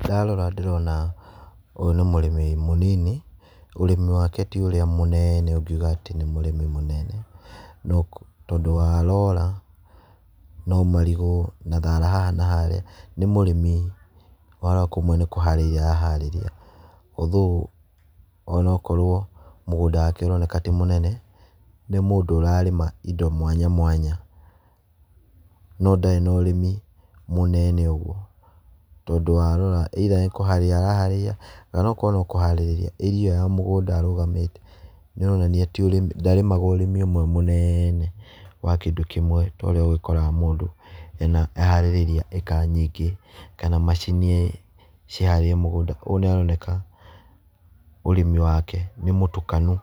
Ndarora ndĩrona ũyũ nĩ mũrĩmi mũnini ũrĩmi wake ti ũrĩa mũnene ũngiuga atĩ nĩ mũrĩmi mũnene. Tondũ warora no marigũ na thara haha na harĩa nĩ mũrĩmi warora kũmwe nĩ kũhariria araharĩria. Although ona okorwo mũgũnda wake ũroneka ti mũnene nĩ mũndũ ũrarĩma indo mwanya mwanya no ndarĩ na ũrĩmi mũnene ũguo. Tondũ waroira either nĩ kũharĩria araharĩria oina korwo no kũharirĩria area ĩyo ya mũgũnda arũgamĩte nĩ aronania ti ndarĩmaga ũrĩmi mũnene wa kĩndũ kĩmwe torĩa ũgĩkoraga mũndũ aharĩrĩirie ĩka nyingĩ kana macini ciharĩirie mũgũnda. Koguo nĩ aroneka ũrĩmi wake nĩ mũtukanu